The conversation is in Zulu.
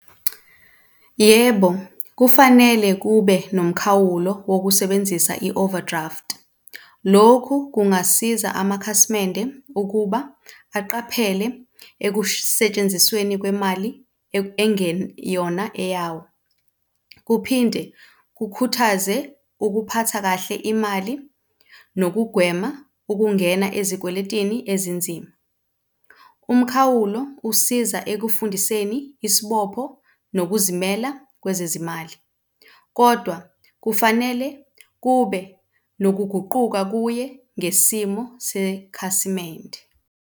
Yebo, kufanele kube nomkhawulo wokusebenzisa i-overdraft. Lokhu kungasiza amakhasimende ukuba aqaphele ekusentshenzisweni kwemali ekungeyona eyawo, kuphinde kukhuthaze ukuphatha kahle imali nokugwema ukungena ezikweletini ezinzima. Umkhawulo usiza ekufundiseni isibopho nokuzimela kwezezimali, kodwa kufanele kube nokuguquka kuye ngesimo sekhasimende.